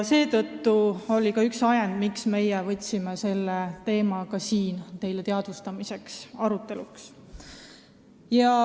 See oli ka üks ajendeid, miks meie teema teadvustamiseks tõime selle siia arutelule.